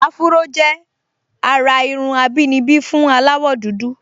Áfúró jẹ́ àrà irun àbínibí fún aláwọ̀dúdú